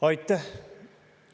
Aitäh!